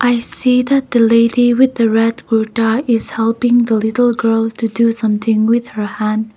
we see that the lady with red kurtha is helping the little girl to do something with her hand.